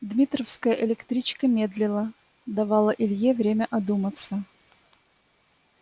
дмитровская электричка медлила давала илье время одуматься